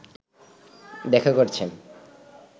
দেখা করেছেন